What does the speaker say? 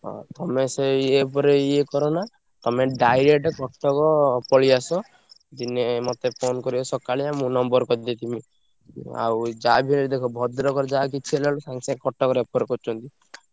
ହଁ ତମେ ସେଇ ଆ ପରେ ଇଏ କରନା ତମେ direct କଟକ ପଳେଇଆସ। ଦିନେ ମତେ phone କରିବ ସକାଳିଆ ମୁଁ number କରିଦେଇଥିବି। ଆଉ ଯାହାବି ହେଲେ ଦେଖ ଭଦ୍ରକରେ ଯାହା କିଛି ହେଲା ବେଳକୁ କଟକ refer କରୁଛନ୍ତି।